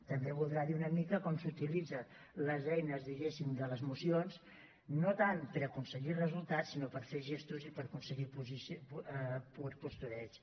també deu voler dir una mica com s’utilitzen les eines diguéssim de les mocions no tant per aconseguir resultats sinó per fer gestos i per aconseguir pur postureig